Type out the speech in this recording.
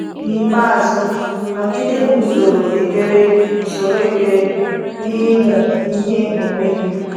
N’ikpeazụ, nọgide na usoro ekpere usoro ekpere na ịmụ ihe onwe gị.